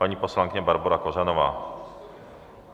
Paní poslankyně Barbora Kořanová.